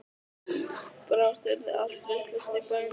Brátt yrði allt vitlaust í bænum.